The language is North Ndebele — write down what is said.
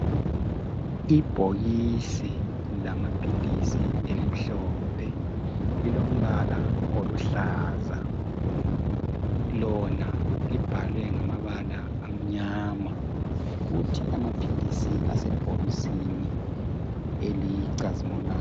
Ibhokisi lamaphilisi elimhlophe lilombala oluhlaza. Lona libhalwe ngamabala amnyama. Kuthi amaphilisi asebhokisini elicazimulayo.